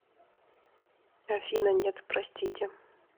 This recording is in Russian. афина нет простите